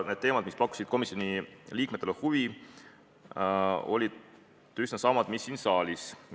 Need teemad, mis pakkusid komisjoni liikmetele huvi, olid üsna samad mis siin saalis.